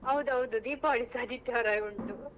ಹೌದೌದು. ದೀಪಾವಳಿಸಾ ಆದಿತ್ಯವಾರವೇ ಉಂಟು.